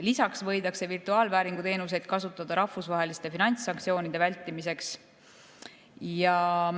Lisaks võidakse virtuaalvääringu teenuseid kasutada rahvusvaheliste finantssanktsioonide vältimiseks.